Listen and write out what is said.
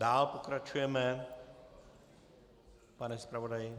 Dál pokračujeme, pane zpravodaji.